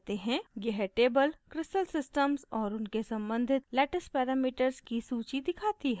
यह table crystal systems और उनके सम्बंधित lattice parameters की सूची दिखाती है